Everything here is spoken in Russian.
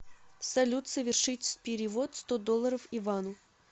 салют совершить перевод сто долларов ивану